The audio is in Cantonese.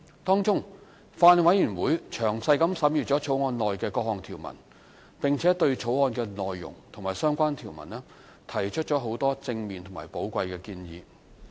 當中，法案委員會詳細審閱《條例草案》的各項條文，並對當中的內容及相關條文提出很多正面和寶貴的建議。